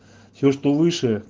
все что выше